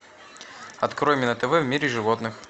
открой мне на тв в мире животных